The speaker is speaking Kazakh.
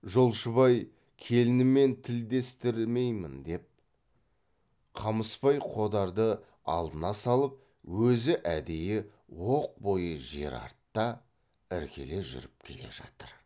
жолшыбай келінімен тілдестірмеймін деп қамысбай қодарды алдына салып өзі әдейі оқ бойы жер артта іркіле жүріп келе жатыр